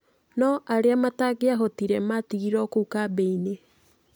No arĩa matangĩahotire matigirwo kũu kambi-inĩ.